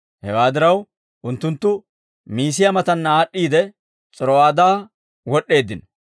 Hewaa diraw, unttunttu Miisiyaa mataanna aad'd'iide, S'iro'aadaa wod'd'eeddino.